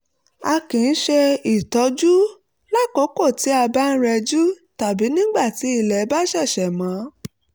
a kì í ṣe ìtọ́jú lákòókò tí a bá ń rẹjú tàbí nígbà tí ilẹ̀ bá ṣẹ̀ṣẹ̀ mọ́